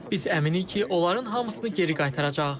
Biz əminik ki, onların hamısını geri qaytaracağıq.